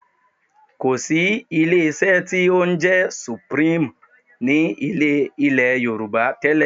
Kò sí ilé-iṣẹ́ tí ó ń jẹ́ Supreme ní ilẹ̀ Yorùbá tẹ́lẹ̀